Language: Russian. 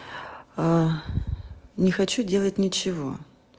а не хочу делать нечего